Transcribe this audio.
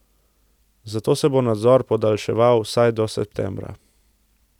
Zato se bo nadzor podaljševal vsaj do septembra.